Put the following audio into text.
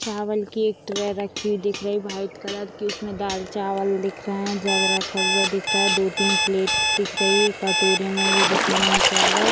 चावल की एक ट्रे रखी हुई दिख रही है व्हाइट कलर की उसमे दाल चावल दिख रहे है जग रखा हुआ दिख रहा है दो-तीन प्लेट दिख रही है कटोरे में भी दिख रहे है चावल।